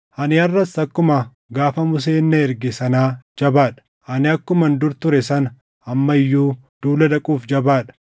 Ani harʼas akkuma gaafa Museen na erge sanaa jabaa dha; ani akkuman dur ture sana amma iyyuu duula dhaquuf jabaa dha.